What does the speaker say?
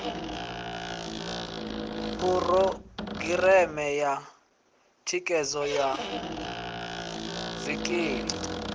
phurogireme ya thikhedzo ya zwikili